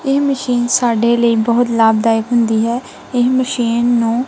ਇਹ ਮਸ਼ੀਨ ਸਾਡੇ ਲਈ ਬਹੁਤ ਲਾਭਦਾਇਕ ਹੁੰਦੀ ਹੈ ਇਹ ਮਸ਼ੀਨ ਨੂੰ--